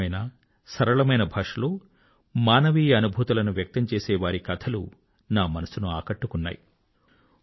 సహజమైన సరళమైన భాషలో మానవీయ అనుభూతులను వ్యక్తం చేసే వారి కథలు నా మనసును ఆకట్టుకున్నాయి